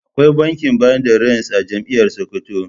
Akwai bankin bada rance a jami'ar Sokoto.